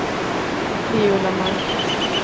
Viola Malmqvist